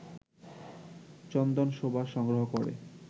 চন্দন সুবাস সংগ্রহ করে